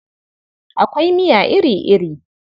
Akwai miya iri-iri.